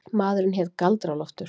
Maðurinn hét Galdra-Loftur.